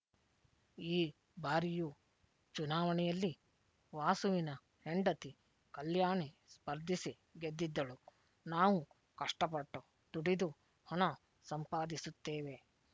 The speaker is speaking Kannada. ಈ ಬಾರಿಯು ಚುನಾವಣೆಯಲ್ಲಿ ವಾಸುವಿನ ಹೆಂಡತಿ ಕಲ್ಯಾಣಿ ಸ್ಪರ್ಧಿಸಿ ಗೆದ್ದಿದ್ದಳು ನಾವು ಕಷ್ಟಪಟ್ಟು ದುಡಿದು ಹಣ ಸಂಪಾದಿಸುತ್ತೇವೆ